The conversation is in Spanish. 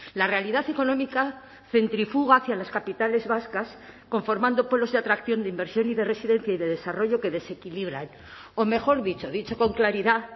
la realidad económica centrifuga hacia las capitales vascas conformando polos de atracción de inversión y de residencia y de desarrollo que desequilibran o mejor dicho dicho con claridad